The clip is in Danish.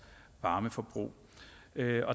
varmeforbrug